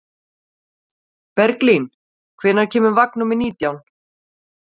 Berglín, hvenær kemur vagn númer nítján?